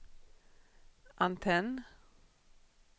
antenn